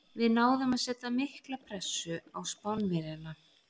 Við náðum að setja mikla pressu á Spánverjana.